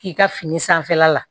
K'i ka fini sanfɛla la